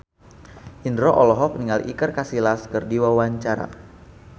Indro olohok ningali Iker Casillas keur diwawancara